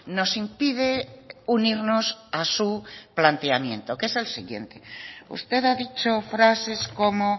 nos impide unirnos a su planteamiento que es el siguiente usted ha dicho frases como